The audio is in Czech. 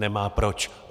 Nemá proč.